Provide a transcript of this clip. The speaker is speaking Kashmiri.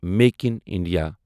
make in India